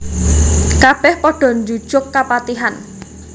Kabèh padha njujug kapatihan